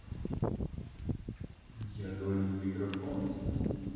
я говорю в микрофон